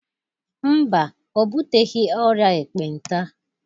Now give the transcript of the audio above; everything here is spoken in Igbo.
Mba, o buteghi ọrịa ekpenta.